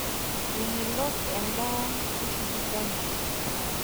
Memelok endaa e sipitali.